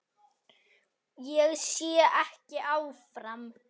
Ég sé ekki áfram.